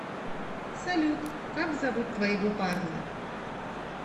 салют как зовут твоего парня